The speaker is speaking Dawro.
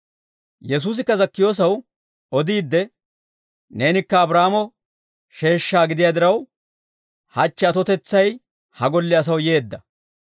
Yesuusikka Zakkiyoosaw odiidde, «Neenikka Abraahaamo sheeshshaa gidiyaa diraw, hachche atotetsay ha golle asaw yeedda.